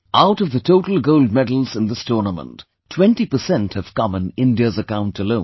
Out of the total gold medals in this tournament, 20% have come in India's account alone